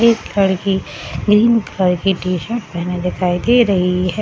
एक लड़की green colour की टी-शर्ट पहने दिखाई दे रही है ।